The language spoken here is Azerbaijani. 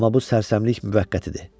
Amma bu sərsəmlik müvəqqətidir.